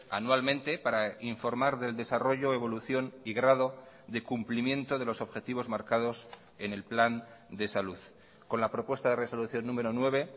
anualmente para informar del desarrollo evolución y grado de cumplimiento de los objetivos marcados en el plan de salud con la propuesta de resolución número nueve